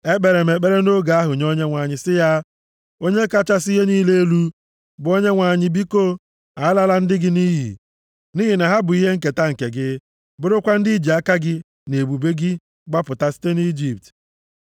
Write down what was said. Ekpere m ekpere nʼoge ahụ nye Onyenwe anyị sị ya, “Onye kachasị ihe niile elu, bụ Onyenwe anyị biko, alala ndị gị nʼiyi, nʼihi na ha bụ ihe nketa gị, bụrụkwa ndị i ji ike aka gị na ebube gị gbapụta site nʼIjipt.